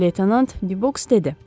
Leytenant Dübəks dedi.